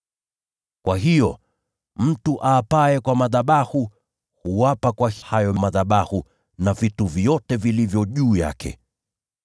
Kwa hiyo, mtu aapaye kwa madhabahu, huapa kwa hayo madhabahu na vitu vyote vilivyo juu yake.